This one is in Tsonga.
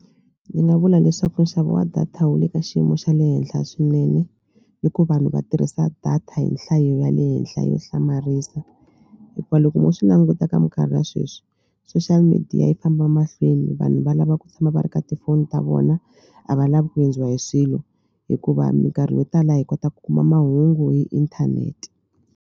Ni nga vula leswaku nxavo wa data wu le ka xiyimo xa le henhla swinene hikuva vanhu va tirhisa data hi nhlayo ya le henhla yo hlamarisa hikuva loko mo swi languta ka mikarhi ya sweswi social media yi famba mahlweni vanhu va lava ku tshama va ri ka tifoni ta vona a va lavi ku hundziwa hi swilo hikuva mikarhi yo tala hi kota ku kuma mahungu hi inthanete.